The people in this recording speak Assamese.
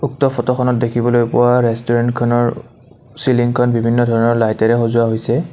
উক্ত ফটোখনত দেখিবলৈ পোৱা ৰেষ্টোৰেণ্টখনৰ চিলিংখন বিভিন্ন ধৰণৰ লাইটেৰে সজোৱা হৈছে।